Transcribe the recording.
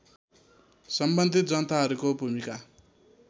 सम्बन्धित जनताहरूको भूमिको